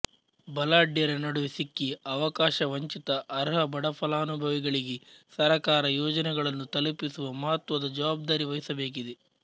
ಬಲಾಢ್ಯರ ನಡುವೆ ಸಿಕ್ಕಿ ಅವಕಾಶ ವಂಚಿತ ಅರ್ಹ ಬಡಫಲಾನುಭವಿಗಳಿಗೆ ಸರಕಾರ ಯೋಜನೆಗಳನ್ನು ತಲುಪಿಸುವ ಮಹತ್ವದ ಜವಾಬ್ದಾರಿ ವಹಿಸಬೇಕಿದೆ